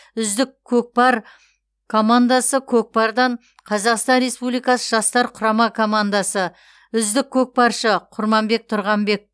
үздік көкпар командасы көкпардан қазақстан республикасы жастар құрама командасы үздік көкпаршы құрманбек тұрғанбек